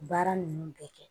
Baara ninnu bɛɛ kɛ